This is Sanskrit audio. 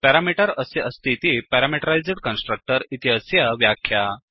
प्यारामीटर् अस्य अस्तीति प्यारामीटरैस्ड् कन्स्ट्रक्टर् इति अस्य व्याख्या